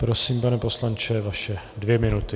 Prosím, pane poslanče, vaše dvě minuty.